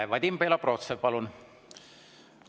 Vadim Belobrovtsev, palun!